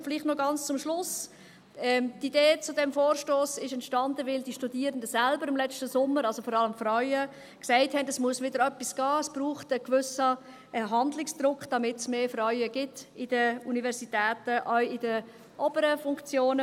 Und vielleicht noch ganz zum Schluss: Die Idee zu diesem Vorstoss entstand, weil die Studierenden, also vor allem die Frauen, letzten Sommer selbst gesagt hatten, es müsse wieder etwas gehen, es brauche einen gewissen Handlungsdruck, damit es mehr Frauen an den Universitäten gibt, auch in den oberen Funktionen.